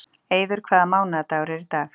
Eiður, hvaða mánaðardagur er í dag?